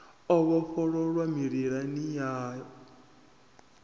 o vhofholowa mililani yanu ya